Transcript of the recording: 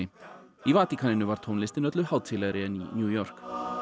í Vatíkaninu var tónlistin öllu hátíðlegri en í New York